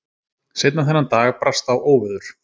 Seinna þennan dag brast á óveður.